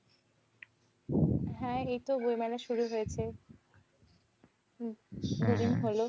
হ্যাঁ, এইতো বই মেলা শুরু হয়েছে। হম দুদিন হলো।